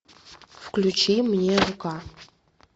включи мне рука